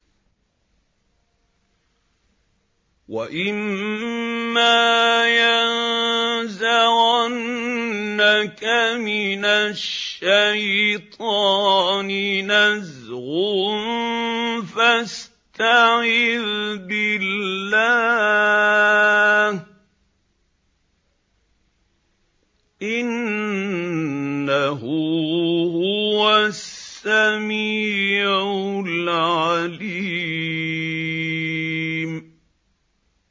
وَإِمَّا يَنزَغَنَّكَ مِنَ الشَّيْطَانِ نَزْغٌ فَاسْتَعِذْ بِاللَّهِ ۖ إِنَّهُ هُوَ السَّمِيعُ الْعَلِيمُ